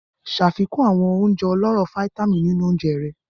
Ṣafikun awọn ounjẹ ọlọrọ fítámìnì ninu ounjẹ rẹ.